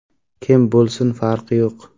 Kim bo‘lsin, farqi yo‘q.